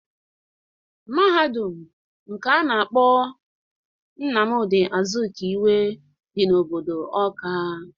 Mahadum nke a na-akpọ Nnamdị Azụkiwe dị n'obodo Ọọka.